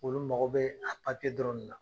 Olu mago be a dɔrɔn de la.